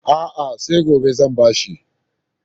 A'a, sai gobe zan ba shi.